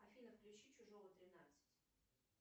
афина включи чужого тринадцать